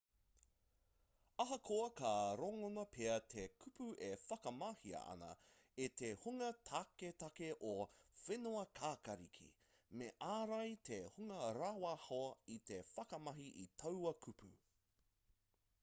ahakoa ka rangona pea te kupu e whakamahia ana e te hunga taketake o whenuakākāriki me ārai te hunga rāwaho i te whakamahi i taua kupu